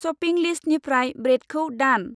Shopping लिस्तनिफ्राय ब्रेदखौ दान।